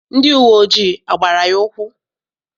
Ndị uwe ojii agbara ya ụkwụ?